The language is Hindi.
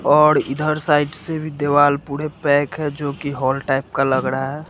और इधर साइड से भी दीवाल पूरे पैक है जो की हॉल टाइप का लग रहा है।